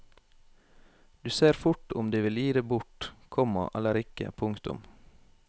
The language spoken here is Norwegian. Du ser fort om de vil gi det bort, komma eller ikke. punktum